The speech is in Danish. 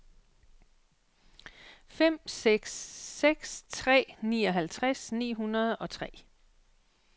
fem seks seks tre nioghalvtreds ni hundrede og tre